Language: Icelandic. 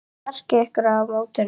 Hvert er markmið ykkar á mótinu?